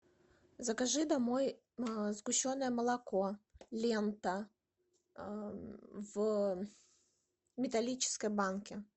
закажи домой сгущенное молоко лента в металлической банке